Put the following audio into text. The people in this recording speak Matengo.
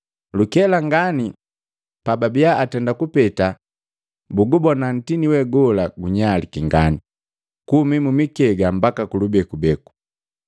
Lukela ngani, pababia atenda kupeta bugubona nkoju we gola gunyaliki ngani, kuhumi mikega mbaka kulubekubeku.